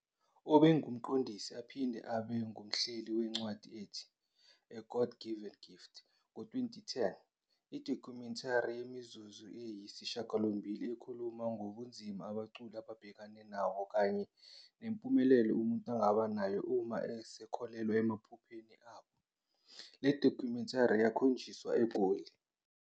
Ubengumqondisi aphinde abe ngumhleli wencwadi ethi 'A God Given Gift,' ngo-2010, idocumentary yemizuzu eyisishiyagalombili ekhuluma ngobunzima abaculi ababhekene nabo kanye nempumelelo umuntu angaba nayo uma esekholelwa emaphusheni abo, le documentary yakhonjiswa eGoli.